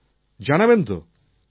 কি জানাবেন তো